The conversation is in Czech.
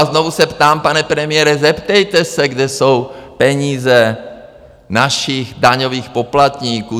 A znovu se ptám, pane premiére, zeptejte se, kde jsou peníze našich daňových poplatníků.